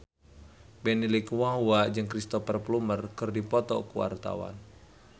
Benny Likumahua jeung Cristhoper Plumer keur dipoto ku wartawan